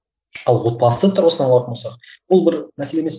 ал отбасы тұрғысынан алатын болсақ бұл бір мәселе емес